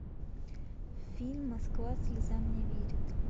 фильм москва слезам не верит